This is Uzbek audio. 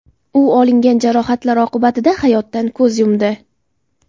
U olingan jarohatlar oqibatida hayotdan ko‘z yumdi.